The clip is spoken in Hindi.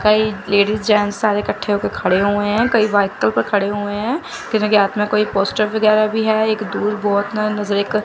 कई लेडिस जेंट्स सारे इकट्ठे होके खड़े हुए हैं कई बाइकल पर खड़े हुए हैं किसी के हाथ में कोई पोस्टर वगैरा भी है एक दूर बहुत --